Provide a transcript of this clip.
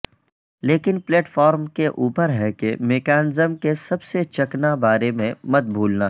لیکن platform کے اوپر ہے کہ میکانزم کے سب چکنا بارے میں مت بھولنا